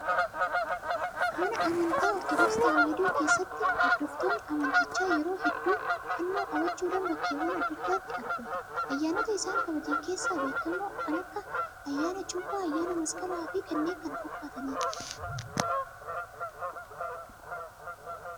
Mana amantaa ortodoksii tawaahidoo keessatti hordoftoonni amantichaa yeroo hedduu fannoo qabachuudhaan bakkeewwan adda addaatti argamu. Ayyaanota isaan kabajan keessaa beekamoon kan akka ayyaana cuuphaa, ayyaana masqalaa fi kanneen kana fakkaatanidha.